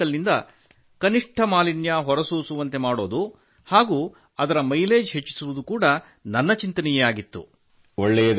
ನನ್ನ motorcycle ನಿಂದ ಕನಿಷ್ಠ ಮಾಲಿನ್ಯ ಹೊರಸೂಸುವಂತೆ ಮಾಡುವುದು ಹಾಗೂ ಅದರ ಮೈಲೇಜ್ ಹೆಚ್ಚಿಸುವುದು ನನ್ನ ಚಿಂತನೆಯೇ ಆಗಿತ್ತು